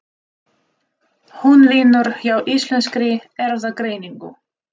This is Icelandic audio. Hún vinnur hjá Íslenskri Erfðagreiningu.